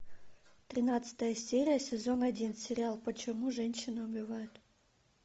тринадцатая серия сезон один сериал почему женщины убивают